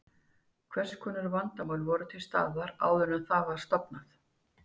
Hvers konar vandamál voru til staðar áður en það var stofnað?